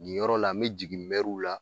Nin yɔrɔ la n me jigin mɛruw la